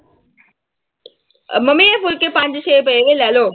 Mummy ਇਹ ਫੁਲਕੇ ਪੰਜ ਛੇ ਪਏ ਨੇ ਲੈ ਲਓ।